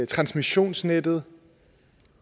transmissionsnettet